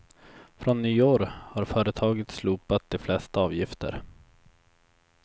Från nyår har företaget slopat de flesta avgifter.